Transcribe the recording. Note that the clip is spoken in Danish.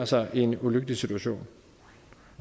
sig i en ulykkelig situation